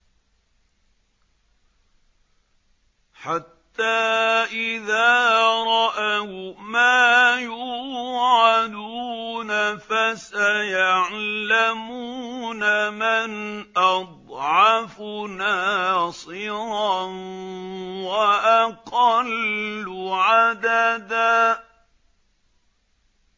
حَتَّىٰ إِذَا رَأَوْا مَا يُوعَدُونَ فَسَيَعْلَمُونَ مَنْ أَضْعَفُ نَاصِرًا وَأَقَلُّ عَدَدًا